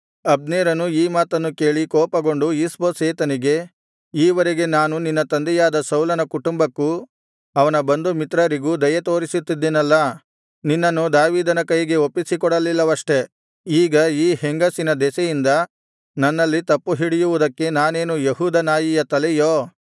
ಅಬ್ನೇರನು ಈ ಮಾತನ್ನು ಕೇಳಿ ಕೋಪಗೊಂಡು ಈಷ್ಬೋಶೆತನಿಗೆ ಈ ವರೆಗೆ ನಾನು ನಿನ್ನ ತಂದೆಯಾದ ಸೌಲನ ಕುಟುಂಬಕ್ಕೂ ಅವನ ಬಂಧು ಮಿತ್ರರಿಗೂ ದಯೆತೋರಿಸುತ್ತಿದ್ದೇನಲ್ಲಾ ನಿನ್ನನ್ನು ದಾವೀದನ ಕೈಗೆ ಒಪ್ಪಿಸಿಕೊಡಲಿಲ್ಲವಷ್ಟೆ ಈಗ ಈ ಹೆಂಗಸಿನ ದೆಸೆಯಿಂದ ನನ್ನಲ್ಲಿ ತಪ್ಪುಹಿಡಿಯುವುದಕ್ಕೆ ನಾನೇನು ಯೆಹೂದ ನಾಯಿಯ ತಲೆಯೋ